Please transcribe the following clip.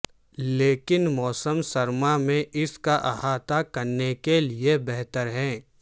لیکن موسم سرما میں اس کا احاطہ کرنے کے لئے بہتر ہے